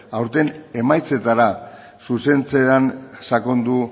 aurten emaitzetara zuzentzea sakondu